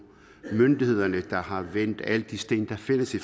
myndighederne der har vendt alle de sten der findes i